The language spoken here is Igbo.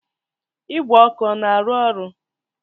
Igwe ọkụ na-arụ ọrụ?